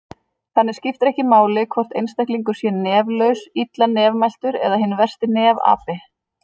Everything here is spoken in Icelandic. Þannig skiptir ekki máli hvort einstaklingur sé neflaus, illa nefmæltur eða hinn versti nefapi!